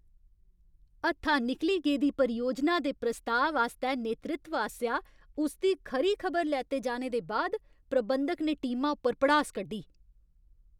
हत्था निकली गेदी परियोजना दे प्रस्ताव आस्तै नेतृत्व आसेआ उसदी खरी खबर लैते जाने दे बाद प्रबंधक ने टीमा उप्पर भड़ास कड्ढी।